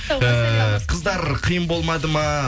ііі қыздар қиын болмады ма